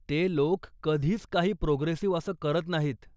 ते लोक कधीच काही प्रोगेसिव्ह असं करत नाहीत.